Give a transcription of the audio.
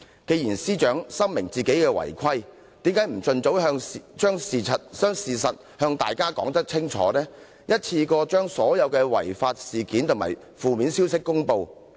既然司長深明自己違規，為何不盡早將事實向大家說清楚，一次過將所有違法事件及負面消息公布？